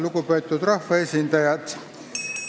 Lugupeetud rahvaesindajad!